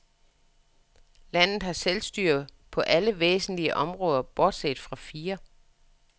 Landet har selvstyre på alle væsentlige områder bortset fra fire.